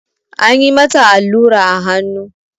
Anyi mata allura a hannu.